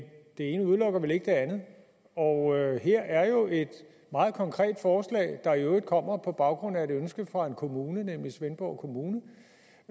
det ene udelukker vel ikke det andet og her er et meget konkret forslag der i øvrigt kommer på baggrund af et ønske fra en kommune nemlig svendborg kommune